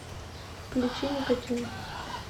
включи никотин